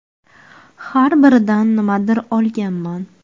Har biridan nimadir olganman.